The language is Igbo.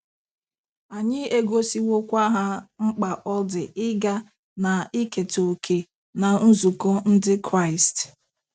Anyị egosiwokwa ha mkpa ọ dị ịga na iketa òkè ná nzukọ Ndị Kraịst.